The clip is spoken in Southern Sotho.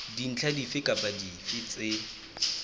dintlha dife kapa dife tse